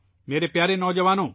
میرے پیارے نوجوانوں ،